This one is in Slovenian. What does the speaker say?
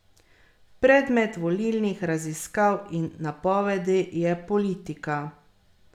Predmet volilnih raziskav in napovedi je politika.